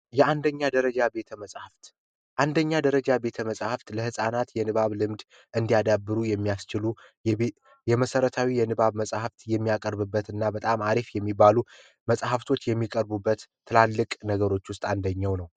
የአንደኛ ደረጃ ቤተመፃፍት አንደኛ ደረጃ ቤት መጽሐፍት ለህፃናት የንባብ ልምድ እንዲያዳበሩ የሚያስችሉ የቤ የመሰረታዊ የንባብ መጽሀፍት የሚያቀርብበት እና በጣም አሪፍ የሚባሉ መጽሃፍቶች የሚቀርቡበት ትላልቅ ነገሮች ውስጥ አንደኛው ነው